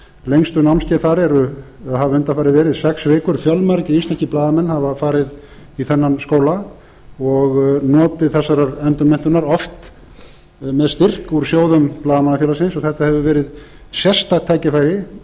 lengstu námskeið hafa undanfarið verð sex vikur fjölmargir íslenskir blaðamenn hafa farið í þennan skóla og notið þessarar endurmenntunar oft með styrk úr sjóðum blaðamannafélagsins og þetta hefur verið sérstakt tækifæri